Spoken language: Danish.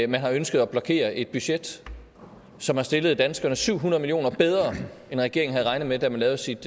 man har ønsket at blokere et budget som har stillet danskerne syv hundrede million kroner bedre end regeringen havde regnet med da man lavede sit